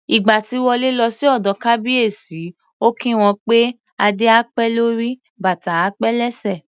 Ìgbà tí Wọlé lọ sí ọ̀dọ̀ Kábíyèsí, ó kí wọn pé "Adé á pẹ́ lórí, bàtà á pẹ́ lẹ́sẹ̀".